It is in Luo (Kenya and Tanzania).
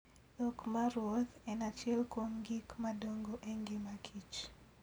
Dhok maruoth en achiel kuom gik madongo e ngima kich.